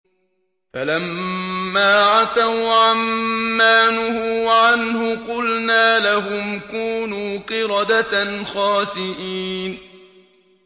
فَلَمَّا عَتَوْا عَن مَّا نُهُوا عَنْهُ قُلْنَا لَهُمْ كُونُوا قِرَدَةً خَاسِئِينَ